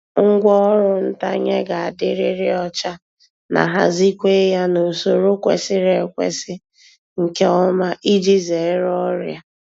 Ngwá ọrụ ntanye ga-adịriri ọcha na hazikwe ya n’usoro kwesiri ekwesi nke ọma iji zere ọrịa.